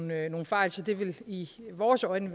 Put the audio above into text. med nogle fejl så det i vores øjne